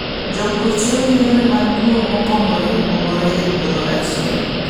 Jopur tiyo gi yore mag pur mopogore opogore e puodho achiel.